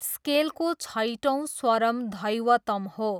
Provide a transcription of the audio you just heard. स्केलको छैटौँ स्वरम् धैवतम् हो।